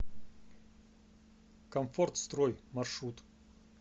комфортстрой маршрут